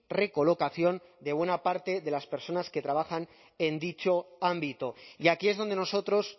recolocación de buena parte de las personas que trabajan en dicho ámbito y aquí es donde nosotros